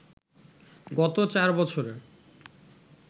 গত চার বছরে